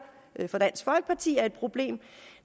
for dansk folkeparti er et problem